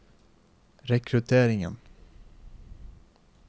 rekrutteringen